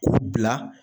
K'u bila